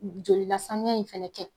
Jolilasanuya in fana kɛ.